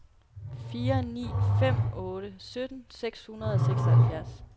fire ni fem otte sytten seks hundrede og seksoghalvfjerds